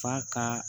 Fa ka